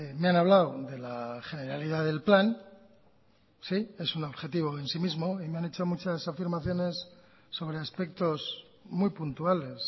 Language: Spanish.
me han hablado de la generalidad del plan sí es un objetivo en sí mismo y me han hecho muchas afirmaciones sobre aspectos muy puntuales